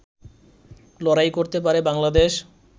লড়াই করতে পারে বাংলাদেশ